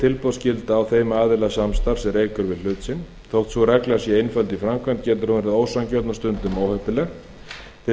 tilboðsskylda á þeim aðila samstarfs er eykur við hlut sinn þótt sú regla sé einföld í framkvæmd getur hún verið ósanngjörn og stundum óheppileg til